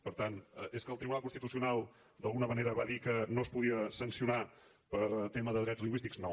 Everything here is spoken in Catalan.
per tant és que el tribunal constitucional d’alguna manera va dir que no es podia sancionar per tema de drets lingüístics no